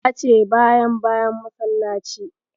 Ya ce bayan bayan masallaci.